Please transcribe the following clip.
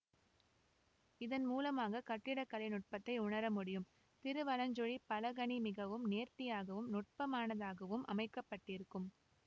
இதன்மூலமாக கட்டிடக்கலை நுட்பத்தை உணர முடியும் திருவலஞ்சுழி பலகணி மிகவும் நேர்த்தியாகவும் நுட்பமானதாகவும் அமைக்க பட்டிருக்கும்